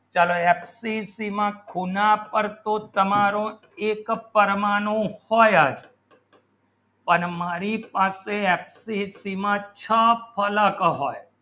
ચલો એફસીસી માં ખૂણા પર તો તમારો એક પરમાણુ હોય પણ મારી પાસે એફસીસી માં છ ફલક હોય